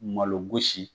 Malo gosi